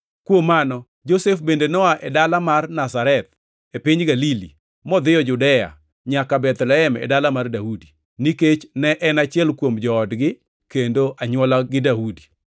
Kuom mano, Josef bende noa e dala mar Nazareth, e piny Galili modhiyo Judea nyaka Bethlehem e dala mar Daudi, nikech ne en achiel kuom joodgi kendo anywola gi Daudi.